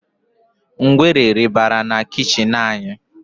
Ngwere rị́barà na kichin anyi